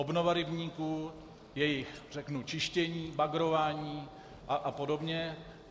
Obnova rybníků, jejich čištění, bagrování a podobně.